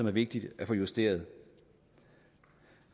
er vigtigt at få justeret